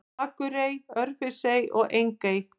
Akurey, Örfirisey og Engey.